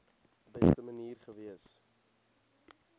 beste manier gewees